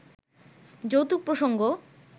যৌতুক প্রসঙ্গ